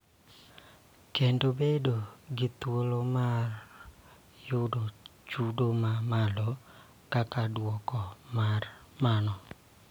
Kendo bedo gi thuolo mar yudo chudo ma malo; kaka duoko mar mano,